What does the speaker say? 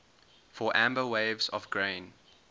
for amber waves of grain